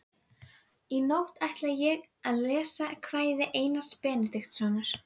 En það gerði hann bara aumkunarverðari.